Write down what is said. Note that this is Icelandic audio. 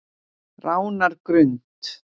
Ránargrund